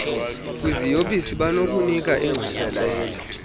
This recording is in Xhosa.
kwiziyobisi banokunika ingqwalasela